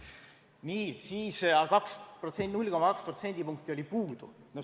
Nii, siis oli 0,2% puudu.